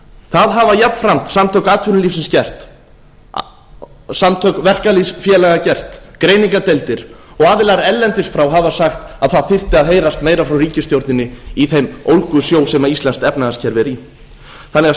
það hafa jafnframt samtök atvinnulífsins gert samtök verkalýðsfélaga gert greiningardeildir og aðilar erlendis frá hafa sagt að það þyrfti að heyrast meira frá ríkisstjórninni í þeim ólgusjó sem íslenskt efnahagskerfi er í